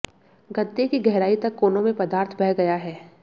गद्दे की गहराई तक कोनों में पदार्थ बह गया है